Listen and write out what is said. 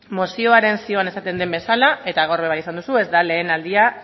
mozioaren zioan esaten den bezala eta gaur ere bai esan duzu ez da lehen aldia